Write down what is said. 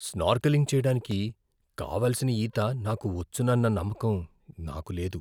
Snorkelling చేయడానికి కావాల్సిన ఈత నాకు వచ్చునన్న నమ్మకం నాకు లేదు.